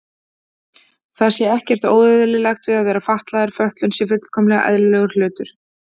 Það sé ekkert óeðlilegt við að vera fatlaður, fötlun sé fullkomlega eðlilegur hlutur.